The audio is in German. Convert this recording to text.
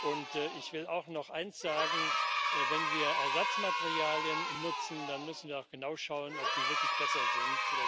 Und ich will auch noch eins sagen Wenn wir Ersatzmaterialien nutzen, dann müssen wir auch genau schauen, ob die wirklich besser sind.